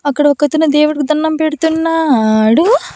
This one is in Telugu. అక్కడ ఒకతను దేవుడుకి దణ్ణం పెడుతున్నాడు.